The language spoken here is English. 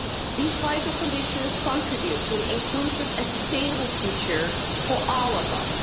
These vital conditions contribute to an inclusive and sustainable future for all of us.